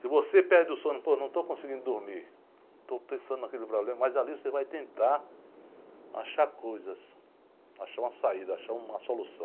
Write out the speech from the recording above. Se você perde o sono, pô, não estou conseguindo dormir, estou pensando naquele problema, mas ali você vai tentar achar coisas, achar uma saída, achar uma solução.